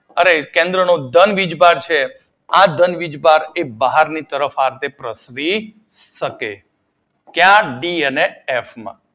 અને કેન્દ્ર નો ધન વીજભાર છે આ ધન વીજભાર બહારની તરફ આમ તેમ પ્રસરી શકે. ક્યાં ડી અને એફ માં